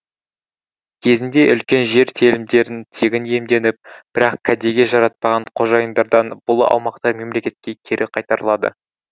кезінде үлкен жер телімдерін тегін иемденіп бірақ кәдеге жаратпаған қожайындардан бұл аумақтар мемлекетке кері қайтарылады